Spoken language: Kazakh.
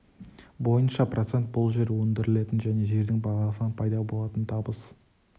бойынша процент бұл жер өндірілетін және жердің бағасынан пайда болатын табыс